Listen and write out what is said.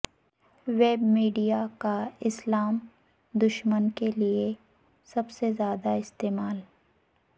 web media کا اسلام دشمنی کے لئے سب سے زیادہ استعمال